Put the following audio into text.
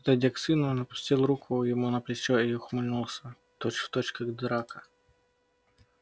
подойдя к сыну он опустил руку ему на плечо и ухмыльнулся точь-в-точь как драко